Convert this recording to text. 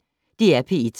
DR P1